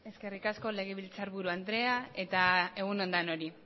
eskerrik asko legebiltzarburu andrea eta egun on denoi